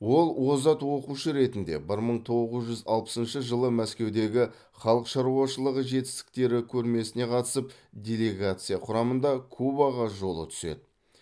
ол озат оқушы ретінде бір мың тоғыз жүз алпысыншы жылы мәскеудегі халық шаруашылығы жетістіктері көрмесіне қатысып делегация құрамында кубаға жолы түседі